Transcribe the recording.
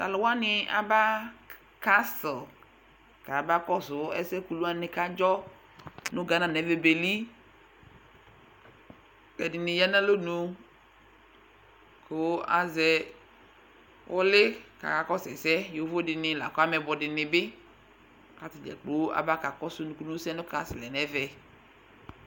Tʋ alʋ wanɩ aba kastl kayabakɔsʋ ɛsɛ kulu wanɩ kʋ adzɔ nʋ gana nʋ ɛvɛ beli kʋ ɛdɩnɩ ya nʋ alɔnu kʋ azɛ ʋlɩ kʋ akakɔsʋ ɛsɛ Yovo dɩnɩ la kʋ ameyɩbɔ dɩnɩ bɩ kʋ ata dza kplo aba kakɔsʋ nukunusɛ nʋ kastl yɛ nʋ ɛvɛ